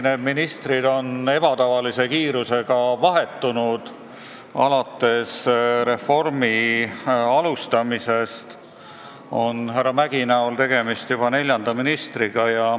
Need ministrid on ebatavalise kiirusega vahetunud alates reformi alustamisest ja härra Mäggi näol on tegemist juba neljandaga selles ametis.